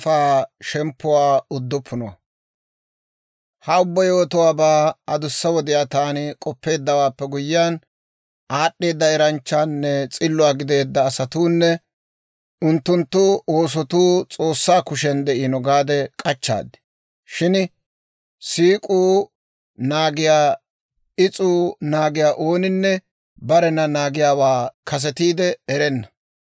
Ha ubbaa yewotuwaabaa adussa wodiyaa taani k'oppeeddawaappe guyyiyaan, aad'd'eeda eranchchaanne s'illuwaa gideedda asatuunne unttunttu oosotuu S'oossaa kushiyan de'iino gaade k'achchaad; shin siik'uu naagiyaa, is'uu naagiyaa ooninne barena naagiyaawaa kasetiide erenna.